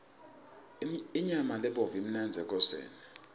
inyama lebovu imnandzi ekoseni